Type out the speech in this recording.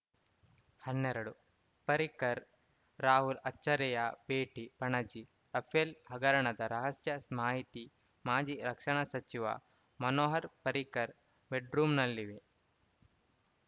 ಹನ್ನೆರಡು ಪರ್ರಿಕರ್‌ ರಾಹುಲ್‌ ಅಚ್ಚರಿಯ ಭೇಟಿ ಪಣಜಿ ರಫೇಲ್‌ ಹಗರಣದ ರಹಸ್ಯ ಮಾಹಿತಿ ಮಾಜಿ ರಕ್ಷಣಾ ಸಚಿವ ಮನೋಹರ್‌ ಪರಿಕರ್ ಬೆಡ್‌ರೂಂನಲ್ಲಿವೆ